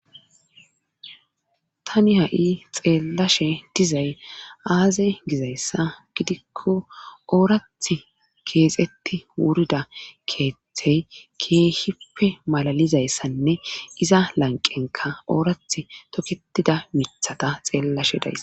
Tani ha7i xeelashe dizay aaze gizayssa gidikko oorathi keexetti wurida keethey keeehippe malalizayssanne iza lanqqnkka oorathi tikettida mithata xeellash days.